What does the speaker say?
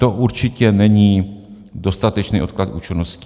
To určitě není dostatečný odklad účinnosti...